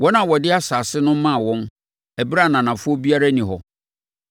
(wɔn a wɔde asase no maa wɔn ɛberɛ a ananafoɔ biara nni hɔ):